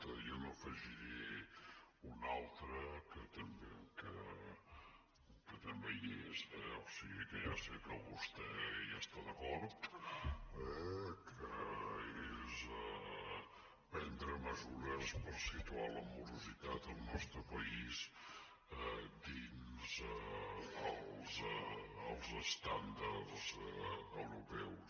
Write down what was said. jo n’afegiré un altre que també hi és eh o sigui que ja sé que vostè hi està d’acord que és prendre mesures per situar la morositat al nostre país dins els estàndards europeus